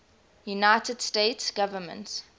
united states government